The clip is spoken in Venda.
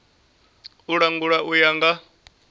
u langula u ya nga